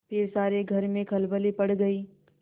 फिर सारे घर में खलबली पड़ गयी